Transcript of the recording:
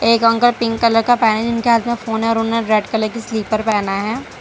एक uncle pink colour का पहने हैं जिनके हाथ में फोन है और उन्होंने रेड कलर का स्लीपर पहना है।